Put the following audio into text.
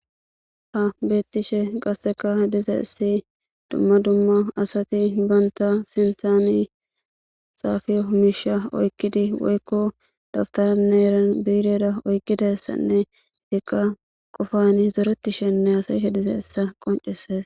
ha beettishe qasseka diza issi dumma dumma asati banta sinthani saafiyo misha oykkidi woykko daftana neeran biideda oykkidassanne hekka qofani zoretishenne hasay hediza issa qoncises